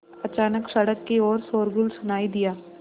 अचानक सड़क की ओर शोरगुल सुनाई दिया